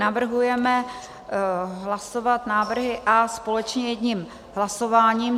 Navrhujeme hlasovat návrhy A společně jedním hlasováním.